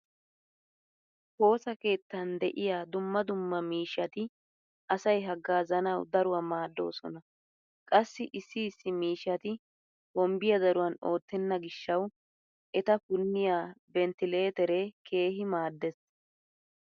Woosa keettan de'iya dumma dumma miishshati asay haggaazzanawu daruwa maaddoosona. Qassi issi issi miishshati hombbiya daruwan oottenna gishshawu eta punniya 'venttileeteree' keehi maaddees.